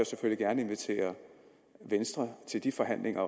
selvfølgelig gerne invitere venstre til de forhandlinger